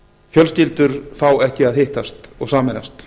fjölskyldur fá ekki að hittast og sameinast